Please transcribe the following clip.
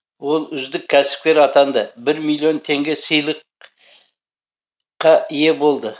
ол үздік кәсіпкер атанды бір миллион теңге сыйлық қа ие болды